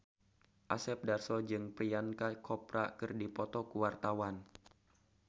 Asep Darso jeung Priyanka Chopra keur dipoto ku wartawan